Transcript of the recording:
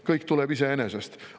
Kõik tuleb iseenesest.